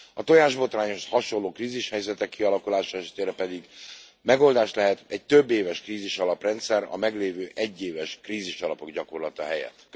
A tojásbotrányhoz hasonló krízishelyzetek kialakulása esetére pedig megoldás lehet egy többéves krízisalaprendszer a meglévő egyéves krízisalapok gyakorlata helyett.